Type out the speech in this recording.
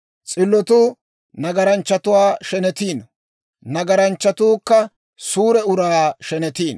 S'illotuu nagaranchchatuwaa shenetiino; nagaranchchatuukka suure uraa shenetiino.